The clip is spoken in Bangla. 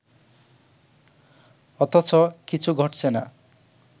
অথচ কিছু ঘটছে না